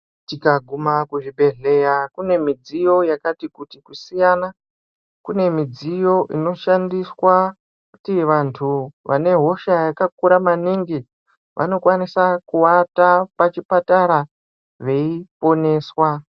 Tikaguma kuzvibhedhleya kune midziyo yakati kuti kusiyana. Kune midziyo inoshandiswa kuti vantu vane hosha yakakura maningi vanokwanisa kuata pachipatara veiponeswa.